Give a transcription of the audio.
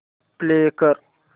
play कर